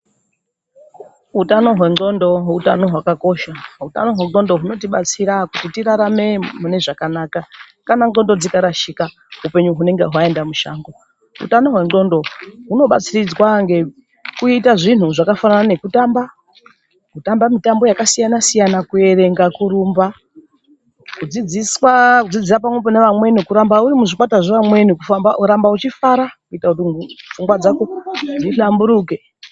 Utano hwendxondo utano hwakakosha. Utano hwendxondo hunotibatsira kuti tirarame mune zvakanaka kana ndxondo dzikarashika upenyu hunenge hwaenda mushango. Utano hwendxondo hunobatsiridzwa ngekuita zvinhu zvakafanana ngekutamba mitambo yakasiyana-siyana, kuerenga , kurumba, kudzidzira pamwepo neamweni kuramba uri uri muzvikwata zvevamweni kuramba uchifara kuitira kuti pfungwa dzawo dzihlamburuke.